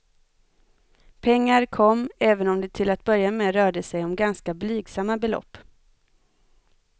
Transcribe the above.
Pengar kom, även om det till att börja med rörde sig om ganska blygsamma belopp.